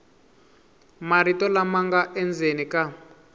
marito lama nga endzeni ka